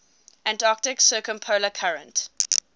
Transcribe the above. antarctic circumpolar current